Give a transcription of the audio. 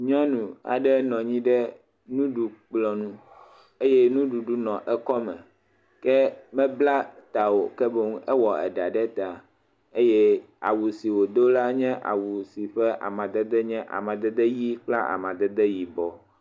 Nyɔnu aɖe nɔ anyi ɖe nuɖu kplɔ ŋu eye nuɖuɖu le eƒe akɔ me, ke mebla ta o ke boɛ ewɔ ɖa ɖe ta, eye awu sia wodo ala enye awu amadede ʋi kple amadede yibɔ.